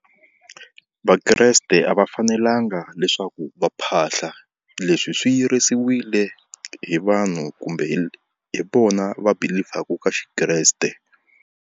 Vakreste a va fanelanga leswaku va phahla leswi swi yirisiwile hi vanhu kumbe hi hi vona va believ-aku ka Xikreste.